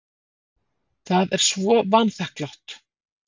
Það er svo vanþakklátt.